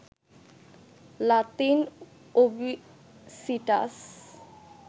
Latin ওবিসিটাস